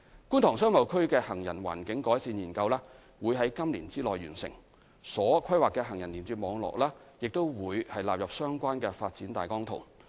觀塘商貿區的行人環境改善研究將於今年內完成，所規劃的行人連接網絡亦將納入相關的發展大綱圖。